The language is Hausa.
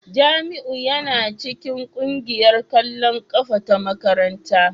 Jamiu yana cikin kungiyar kwallon kafa ta makaranta